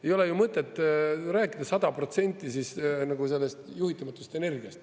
Ei ole ju mõtet rääkida 100% juhitamatust energiast.